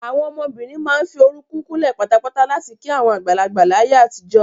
Àwọn ọmọbìnrin máa ń fi orúkún kúnlẹ̀ patapata láti kí àwọn àgbàlagbà láyé àtijọ́.